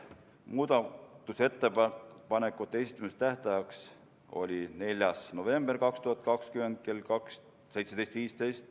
Muudatusettepanekute esitamise tähtaeg oli 4. november 2020 kell 17.15.